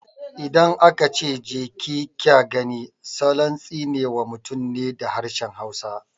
Idan aka ce "Je ki kya gani" salon tsine wa mutum ne da harshen hausa